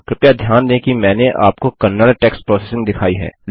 कृपया ध्यान दें कि मैंने आपको कन्नड़ टेक्स्ट प्रोसेसिंग दिखाई है